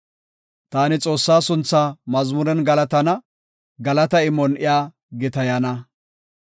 Taani Xoossaa sunthaa mazmuren galatana; galata imon iya gitayana.